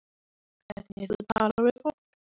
Hvernig þú talar við fólk.